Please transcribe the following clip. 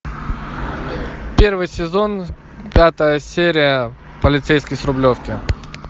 первый сезон пятая серия полицейский с рублевки